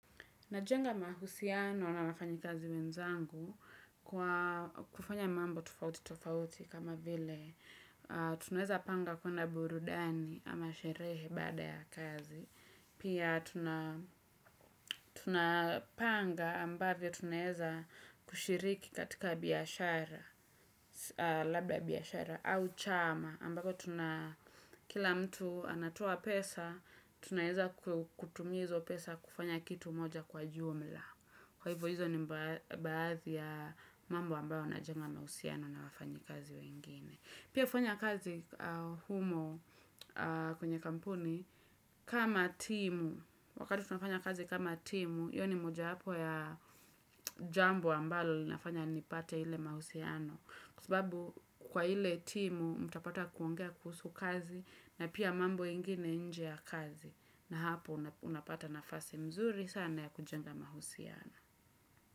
Najenga mahusiano na wafanyikazi wenzangu kufanya mambo tofauti tofauti kama vile. Tunaweza panga kwenda burudani ama sherehe baada ya kazi. Pia tunapanga ambavyo tunaweza kushiriki katika biashara, labda biashara au chama. Ambavyo kila mtu anatoa pesa, tunaweza kutumia hizo pesa kufanya kitu moja kwa jumla. Kwa hivyo hizo ni baadhi ya mambo ambayo yanajenga mahusiano na wafanyikazi wengine. Pia hufanya kazi humo kwenye kampuni, kama timu, wakati tunafanya kazi kama timu, hiyo ni moja yapo ya jambo ambalo linafanya nipate ile mahusiano. Kwa sababu kwa ile timu, mtapata kuongea kuhusu kazi na pia mambo ingine nje ya kazi. Na hapo unapata nafasi mzuri sana ya kujenga mahusiano.